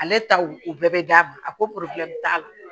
Ale taw o bɛɛ bɛ d'a ma a ko t'a la